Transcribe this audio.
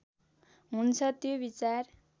हुन्छ त्यो विचार